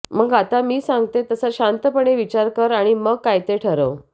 मग आता मी सांगतीये तसा शांतपणे विचार कर आणि मग काय ते ठरव